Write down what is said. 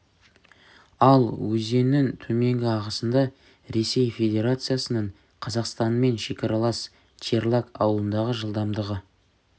ал өзеннің төменгі ағысында ресей федерациясының қазақстанмен шекаралас черлак ауылындағы жылдамдығы